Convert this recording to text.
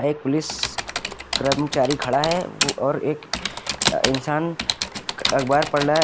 एक पुलिस कर्मचारी खड़ा है ओ और एक इंसान अखबार पढ़ रहा--